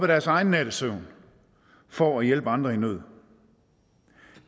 deres egen nattesøvn for at hjælpe andre i nød